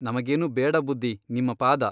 ನಮಗೇನೂ ಬೇಡ ಬುದ್ಧಿ ನಿಮ್ಮ ಪಾದ.